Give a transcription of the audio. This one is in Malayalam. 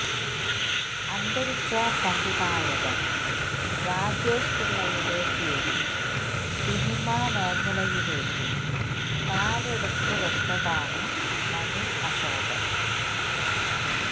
അന്തരിച്ച സംവിധായകൻ രാജേഷ് പിള്ളയുടെ കീഴിൽ സിനിമ മേഖലയിലേക്ക് കാലെടുത്ത് വെച്ചതാണ് മനു അശോകൻ